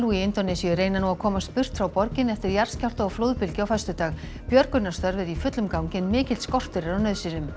í Indónesíu reyna nú að komast burt frá borginni eftir jarðskjálfta og flóðbylgju á föstudag björgunarstörf eru í fullum gangi en mikill skortur er á nauðsynjum